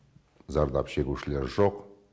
зардап шегушілер жоқ